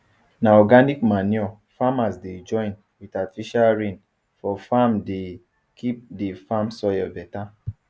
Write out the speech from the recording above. na organic manure farmers dey join with artifical rain for farmdey keep the farm soil better